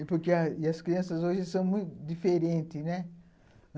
E porque, e as crianças hoje são muito diferentes, né?